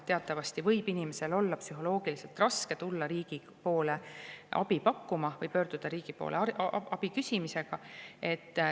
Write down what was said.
Teatavasti võib inimesel olla psühholoogiliselt raske tulla riigilt abi paluma või pöörduda riigi poole, et abi küsida.